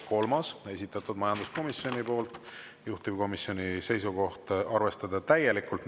Kolmas, esitatud majanduskomisjoni poolt, juhtivkomisjoni seisukoht: arvestada täielikult.